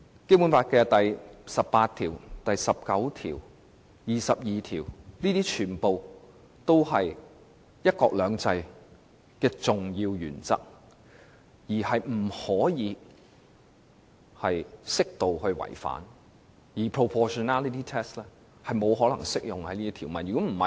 《基本法》第十八條、第十九條和第二十二條全都是"一國兩制"的重要原則，不能容許適度違反，因此 proportionality test 也不適用於這些條文。